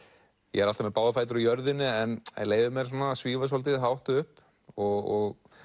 ég er alltaf með báða fætur á jörðinni en leyfi mér að svífa svolítið hátt upp og